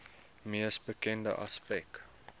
mees bekende aspek